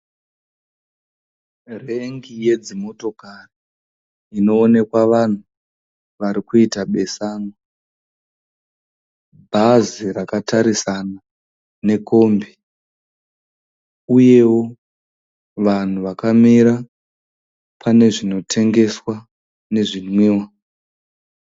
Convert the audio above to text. Rengi yedzimotokari inovonekwa vanhu vari kuita besanwa. Bhazi rakatarisana nekombi uyewo vanhu vakamira pane zvinotengeswa nezvinwiwa.